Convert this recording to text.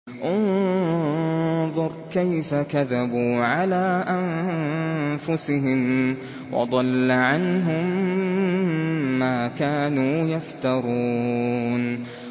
انظُرْ كَيْفَ كَذَبُوا عَلَىٰ أَنفُسِهِمْ ۚ وَضَلَّ عَنْهُم مَّا كَانُوا يَفْتَرُونَ